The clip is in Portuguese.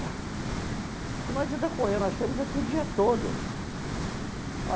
Que não adianta correr, nós tínhamos aqui o dia todo.